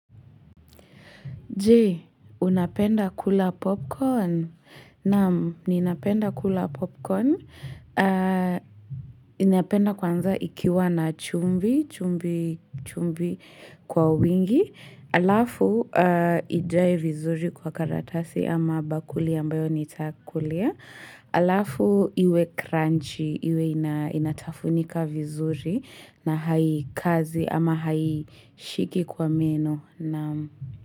Je, unapenda kula popcorn? Naam, ninapenda kula popcorn. Ninapenda kwanza ikiwa na chumvi, chumvi, chumvi kwa wingi. Alafu, ijae vizuri kwa karatasi ama bakuli ambayo nitakulia. Alafu, iwe crunchy, iwe inatafunika vizuri na haikazi ama haishiki kwa meno. Naam.